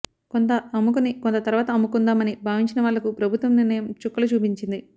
కొంత అమ్ముకుని కొంత తర్వాత అమ్ముకుందాం అని భావించిన వాళ్లకు ప్రభుత్వ నిర్ణయం చుక్కలు చూపించింది